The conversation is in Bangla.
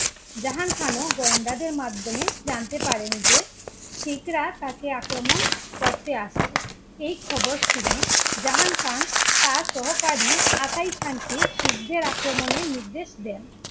জাহাং খানও গোয়েন্দাদের মাধ্যমে জানতে পারেন যে শিখরা তাকে আক্রমণ করতে আসছে। এই খৱৰ শুনে জাহাং খানতার সহকারী আকাই খানকে শিখদের আক্রমণের নির্দেশ দেন।